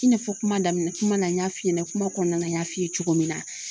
I n'a fɔ kuma daminɛ kuma na n y'a f'i ɲɛna kuma kɔnɔna na n y'a f'i ye cogo min na